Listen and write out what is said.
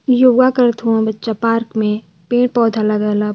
योगा करत हवं बच्चा पार्क में पेड़ पौधा लगल ह।